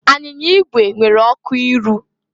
Anyịnya igwe nwere ọkụ iru.